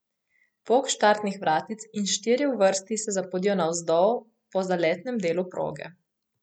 Pok štartnih vratic, in štirje v vrsti se zapodijo navzdol po zaletnem delu proge.